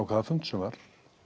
hvaða fund sem var